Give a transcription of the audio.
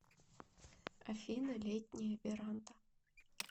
афина летняя веранда